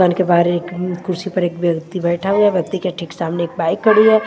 के बाहर एक कुर्सी पर एक व्यक्ति बैठा हुआ है व्यक्ति के ठीक सामने एक बाइक खड़ी है।